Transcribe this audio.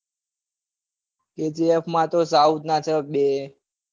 kgf માં તો south ના છ બે. .